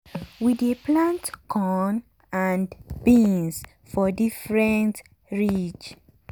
we dey plant corn and beans for different ridge.